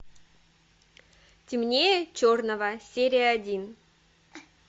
темнее черного серия один